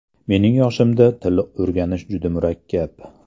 Mening yoshimda til o‘rganish juda murakkab.